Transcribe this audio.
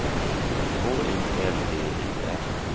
H I L D U R